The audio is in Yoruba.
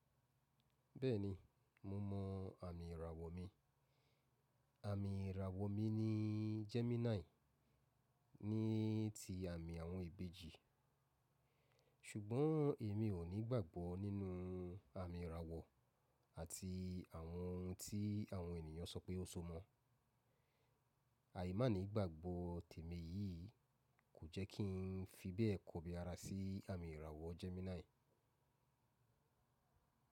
Bẹ́ẹ̀ni, mo mọ àmì ìràwọ̀ mi. Àmì ìràwọ̀ mi ni Gemini ní ti àmì àwọn ìbejì. Sugbon emi o ni igbagbo ninu ami irawo ati awon ohun ti awon eniyan so pe o so moo. Àìmá ní ìgbàgbọ́ tèmi yìí kò jẹ́ kí n fi bẹ́ẹ̀ kọbi ara sí àmì ìràwọ̀ Gemini.